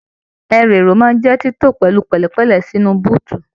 Ẹrú èrò máa n jẹ tito pẹlú pẹlẹpẹlẹ sínú búutú.